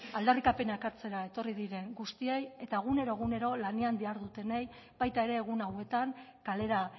aldarrikapena ekartzera etorri diren guztiei eta egunero egunero lanean dihardutenei baita ere egun hauetan kalera